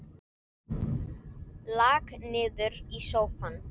Lak niður í sófann.